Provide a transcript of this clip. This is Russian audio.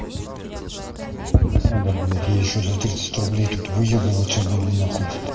надо блядь я ещё за тридцать рублей тут выёбываться буду на хуй